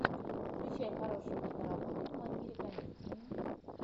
включай хорошую киноработу в манере комедии